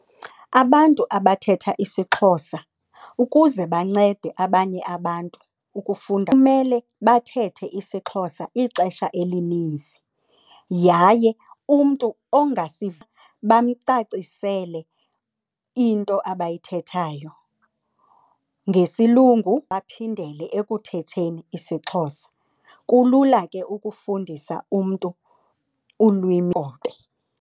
Abantu abathetha isiXhosa ukuze bancede abanye abantu ukufunda kumele bathethe isiXhosa ixesha elininzi yaye umntu ongasiva bamcacisele into abayithethayo ngesilungu baphindele ekuthetheni isiXhosa. Kulula ke ukufundisa umntu ulwimi lwenkobe.